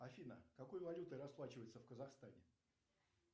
афина какой валютой расплачиваются в казахстане